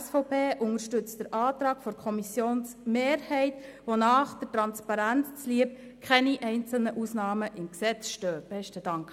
Die SVP unterstützt den Antrag der Kommissionsmehrheit, wonach der Transparenz zuliebe keine einzelne Ausnahme im Gesetz stehen soll.